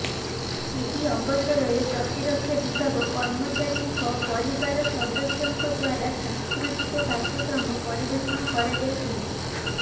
ଏହି ଅବସରରେ ପ୍ରତିରକ୍ଷା ବିଭାଗ କର୍ମଚାରୀଙ୍କ ପରିବାର ସଦସ୍ୟଙ୍କ ଦ୍ୱାରା ସାଂସ୍କୃତିକ କାର୍ଯ୍ୟକ୍ରମ ପରିବେଷଣ କରାଯାଇଥିଲା